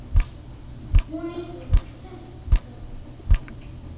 Hún er hér kært kvödd.